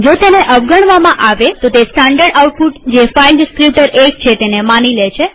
જો તેને અવગણવામાં આવે તો તે સ્ટાનડર્ડ આઉટપુટ જે ફાઈલ ડીસ્ક્રીપ્ટર ૧ છે તેને માની લે છે